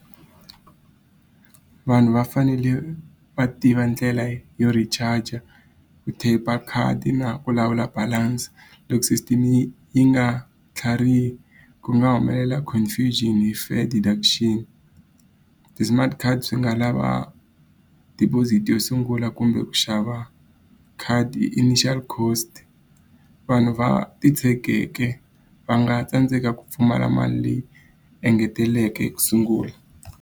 Vanhu va fanele va tiva ndlela yo reacharge-a, ku tap-a khadi na ku lawula balance. Loko system yi yi nga tlharihi ku nga humelela confirmation hi deduction. Ti-smart card swi nga lava deposit yo sungula kumbe ku xava khadi initial cost. Vanhu va titshegekeke va nga tsandzeka ku pfumala mali leyi engeteleke ku sungula.